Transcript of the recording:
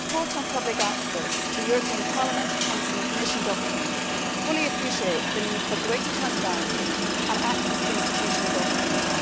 Madam President, the report on public access to European Parliament, Council and Commission documents fully appreciates the need for greater transparency and access to institutional documents.